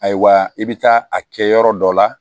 Ayiwa i bɛ taa a kɛ yɔrɔ dɔ la